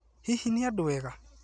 Hihi nĩ andũega?